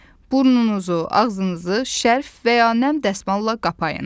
Burnunuzu, ağzınızı şerf və ya nəm dəsmalla qapayın.